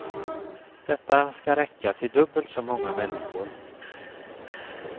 Detta skall räcka till dubbelt så många människor.